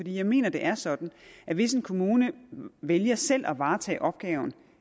jeg mener det er sådan at hvis en kommune vælger selv at varetage opgaven